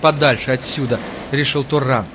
подальше отсюда решил туран